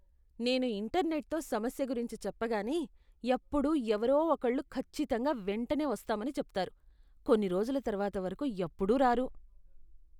నేను ఇంటర్నెట్తో సమస్య గురించి చెప్పగానే ఎప్పుడూ ఎవరో ఒకళ్ళు ఖచ్చితంగా వెంటనే వస్తామని చెప్తారు, కొన్ని రోజుల తరువాత వరకు ఎప్పుడూ రారు.